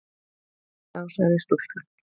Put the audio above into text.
Þá sagði stúlkan